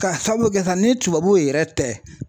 K'a sabu kɛ sa ni tubabu yɛrɛ tɛ